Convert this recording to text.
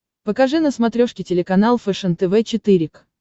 покажи на смотрешке телеканал фэшен тв четыре к